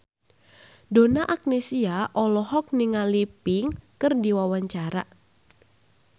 Donna Agnesia olohok ningali Pink keur diwawancara